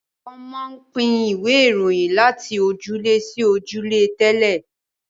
wón món pin Ìwé Ìròyìn lati ojúlé sí ojúlé tẹlẹ